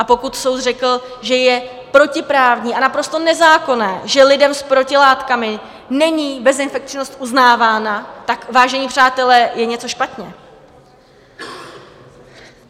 A pokud soud řekl, že je protiprávní a naprosto nezákonné, že lidem s protilátkami není bezinfekčnost uznávána, tak, vážení přátelé, je něco špatně!